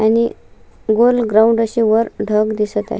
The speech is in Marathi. आणि गोल ग्राउंड असे वर ढग दिसत आहे.